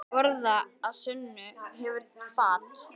Borð að sönnu hefur fat.